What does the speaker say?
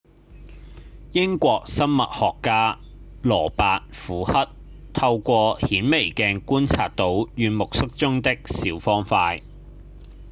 英國生物學家羅伯‧虎克透過顯微鏡觀察到軟木塞中的小方塊